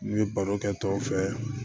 N ye baro kɛ tɔw fɛ